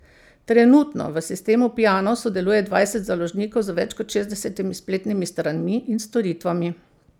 Trenutno v sistemu Piano sodeluje dvajset založnikov z več kot šestdesetimi spletnimi stranmi in storitvami.